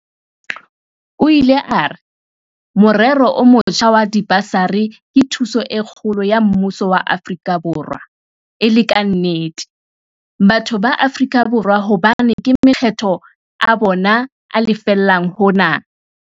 O ile a re, "Morero o motjha wa dibasari ke thuso e kgolo ya mmuso wa Afrika Borwa le, e le ka nnete, batho ba Afrika Borwa hobane ke makgetho a bona a lefellang hona".